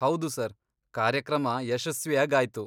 ಹೌದು ಸರ್, ಕಾರ್ಯಕ್ರಮ ಯಶಸ್ವಿಯಾಗಾಯ್ತು.